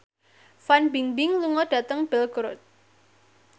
Fan Bingbing lunga dhateng Belgorod